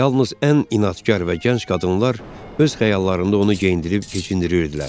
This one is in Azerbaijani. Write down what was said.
Yalnız ən inadkar və gənc qadınlar öz xəyallarında onu geyindirib keçindirirdilər.